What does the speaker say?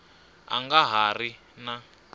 a nga ha ri na